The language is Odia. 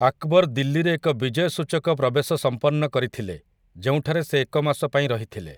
ଆକ୍ବର୍ ଦିଲ୍ଲୀରେ ଏକ ବିଜୟସୂଚକ ପ୍ରବେଶ ସମ୍ପନ୍ନ କରିଥିଲେ, ଯେଉଁଠାରେ ସେ ଏକ ମାସ ପାଇଁ ରହିଥିଲେ ।